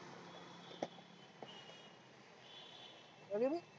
अधी रे?